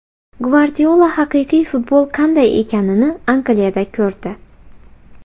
Gvardiola haqiqiy futbol qanday ekanini Angliyada ko‘rdi.